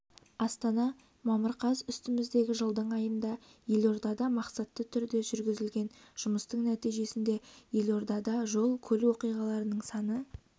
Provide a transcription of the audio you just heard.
астана мамыр қаз үстіміздегі жылдың айында елордада мақсатты түрде жүргізілген жұмыстың нәтижесінде елордада жол-көлік оқиғаларының саны